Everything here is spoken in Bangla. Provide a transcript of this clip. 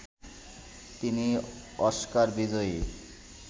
তিনি অস্কার বিজয়ী